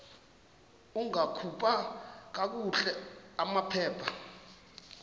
ungakhupha kakuhle amaphepha